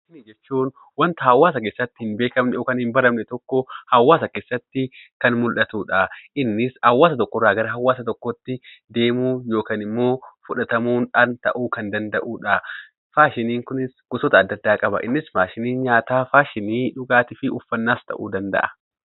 Faashinii jechuun wanta hawwaasa keessatti hin beekamnee fi hin baramne tokkoo hawwaasa keessatti kan mul'atuudha. Innis hawwaasa tokko irraa gara hawwaasa tokkootti deemuudhaan yookiin immoo fudhatamuudhaan ta'uu kan danda'uudha. Faashiniin kunis gosoota addda addaa qaba. Innis faashinii nyaataa, uffaannaa fi faashinii dhugaatii fa'aadha.